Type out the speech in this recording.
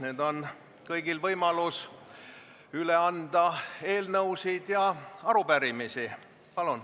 Nüüd on kõigil võimalus üle anda eelnõusid ja arupärimisi.